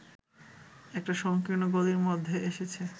একটা সংকীর্ণ গলির মধ্যে এসেছে